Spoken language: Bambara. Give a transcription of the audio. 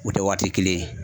U tɛ waati kelen ye